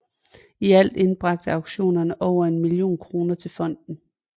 I alt indbragte auktionerne over en million kroner til fondet